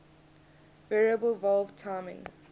variable valve timing